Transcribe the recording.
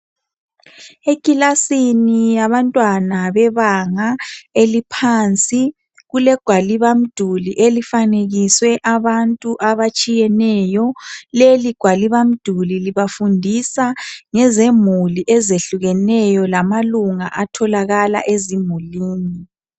Ekilasini yabantwana bebanga eliphansi kulegwaliba mduli elifanekiswe abantu abatshiyeneyo. Leli gwaliba mdluli libafundisa ngezemuli ezehlukeneyo lamalunga atholakala ezimulini.